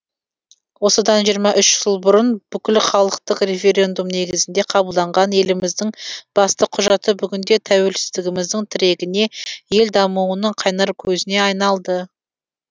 осыдан жиырма үш жыл бұрын бүкілхалықтық референдум негізінде қабылданған еліміздің басты құжаты бүгінде тәуелсіздігіміздің тірегіне ел дамуының қайнар көзіне айналды